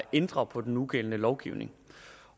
ændre på den nugældende lovgivning